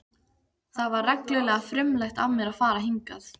Það var reglulega frumlegt af mér að fara hingað.